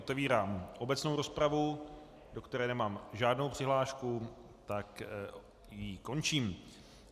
Otevírám obecnou rozpravu, do které nemám žádnou přihlášku, tak ji končím.